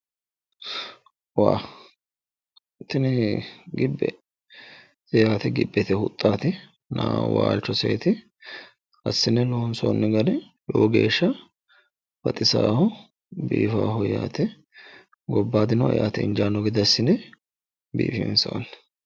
woh tini gibbete yaate gibbete huxxaatina waalchoseeti assine loonsoonni gari lowo geeshsha baxisaaho biifaaho yaate gobbaadino eate injaanno gede assine biifinsoonni.